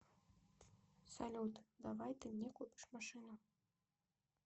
салют давай ты мне купишь машину